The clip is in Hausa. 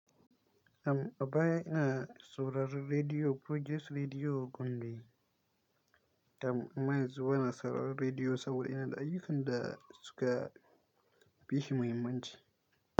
Tam a baya ina sauraron Rediyo Progress Rediyo Gombe. Tam amma yanzuwa ba na saurarRediyo saboda ina da ayyukan da suka fi shi mahimmanci.